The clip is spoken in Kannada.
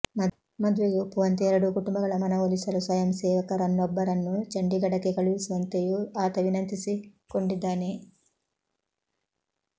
ಮದುವೆಗೆ ಒಪ್ಪುವಂತೆ ಎರಡೂ ಕುಟುಂಬಗಳ ಮನವೊಲಿಸಲು ಸ್ವಯಂಸೇವಕರನ್ನೊಬ್ಬರನ್ನು ಚಂಡಿಗಡಕ್ಕೆ ಕಳುಹಿಸುವಂತೆಯೂ ಆತ ವಿನಂತಿಸಿಕೊಂಡಿದ್ದಾನೆ